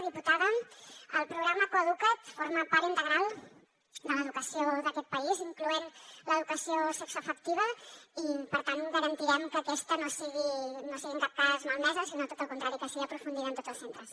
diputada el programa coeduca’t forma part integral de l’educació d’aquest país incloent l’educació sexoafectiva i per tant garantirem que aquesta no sigui en cap cas malmesa sinó tot el contrari que sigui aprofundida en tots els centres